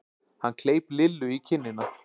Hann kleip Lillu í kinnina.